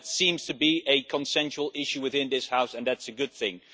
So that seems to be a consensual issue within this House, and that is a good thing.